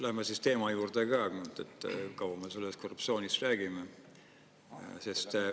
Läheme teema juurde ka, kaua me sellest korruptsioonist räägime.